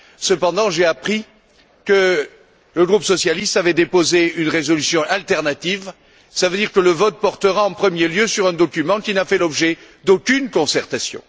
Cependant, j'ai appris que le groupe socialiste avait déposé une résolution alternative, ce qui veut dire que le vote portera en premier lieu sur un document qui n'a fait l'objet d'aucune concertation.